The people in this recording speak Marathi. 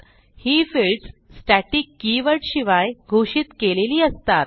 ही फिल्डस स्टॅटिक कीवर्ड शिवाय घोषित केलेली असतात